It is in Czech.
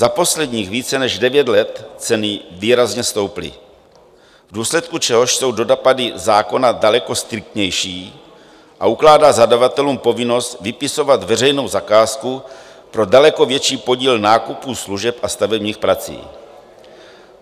Za posledních více než devět let ceny výrazně stouply, v důsledku čehož jsou dopady zákona daleko striktnější a ukládá zadavatelům povinnost vypisovat veřejnou zakázku pro daleko větší podíl nákupu služeb a stavebních prací.